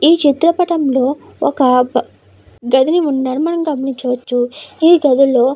ఈ చిత్ర పటంలో ఒక బ గదిని ఉండడం మనం గమనించవచ్చు ఈ గదుల్లో.